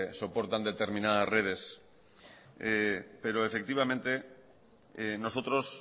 soportan determinadas redes pero efectivamente nosotros